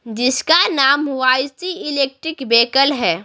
जिसका नाम Y C electric vehicle है।